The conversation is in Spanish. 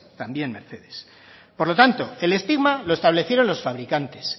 también mercedes por lo tanto el estigma lo establecieron los fabricantes